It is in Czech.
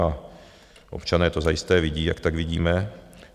A občané to zajisté vidí, jak tak vidíme.